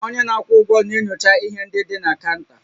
Onye na-akwụ ụgwọ na-enyocha ihe ndị dị na kaụnta